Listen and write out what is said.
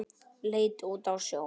Leit út á sjóinn.